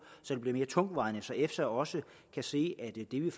så det bliver mere tungtvejende og så efsa også kan se at det vi